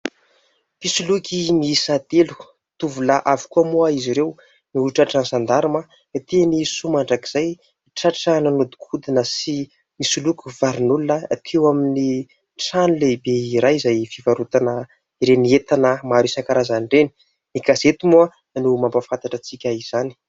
Mpisoloky miisa telo, tovolahy avokoa moa izy ireo no tra tran'ny Zandarima teny Soamandrakizay ; tratra nanodikodina sy nisoloky varin'olona teo amin'ny trano lehibe iray izay fivarotana ireny entana maro isankarazany ireny. Ny gazety moa no mahampafantatra antsika izany.